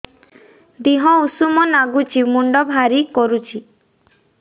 ଦିହ ଉଷୁମ ନାଗୁଚି ମୁଣ୍ଡ ଭାରି କରୁଚି